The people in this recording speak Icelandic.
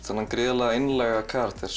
þennan gríðarlega einlæga karakter